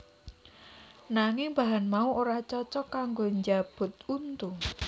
Nanging bahan mau ora cocok kanggo njabut untu